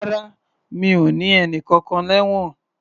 Rárá, mi o ní ẹnìkankan lẹ́wọ̀n.